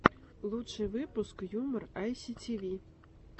лучший выпуск юмор айситиви